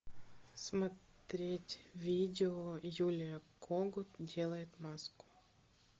смотреть видео юлия когут делает маску